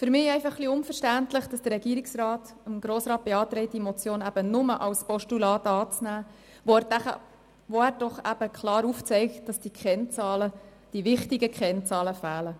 Für mich ist es jedoch ein wenig unverständlich, dass der Regierungsrat dem Grossen Rat beantragt, diese Motion nur als Postulat anzunehmen, wo er doch klar aufzeigt, dass die wichtigen Kennzahlen fehlen.